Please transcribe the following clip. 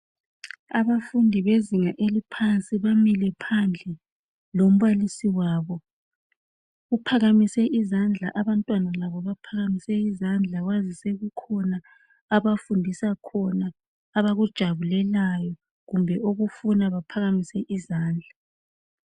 Abafundi bezinga eliphansi bamile phandle lombalisi wabo uphakamise izandla abantwana labo baphakamise izandla kwazise kukhona abafundisa khona abakujabulelayo kumbe okufuna bephakamise izandla.